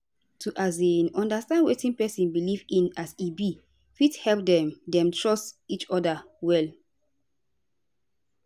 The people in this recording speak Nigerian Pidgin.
to um understand wetin sick pesin belief in as e be fit help dem dem trust each oda well